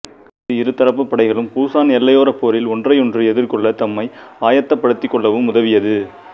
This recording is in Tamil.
இது இருதரப்புப் படைகளும் புசான் எல்லையோரப் போரில் ஒன்றையொன்று எதிர்கொள்ள தம்மை ஆயத்தப்படுத்திக் கொள்ளவும் உதவியது